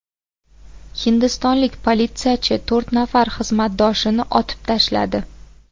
Hindistonlik politsiyachi to‘rt nafar xizmatdoshini otib tashladi.